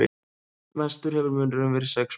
Mestur hefur munurinn verið sex mörk